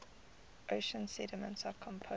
ocean sediments are composed of